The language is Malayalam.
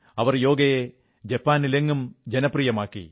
അവർ യോഗയെ ജപ്പാനിലെങ്ങും ജനപ്രിയമാക്കി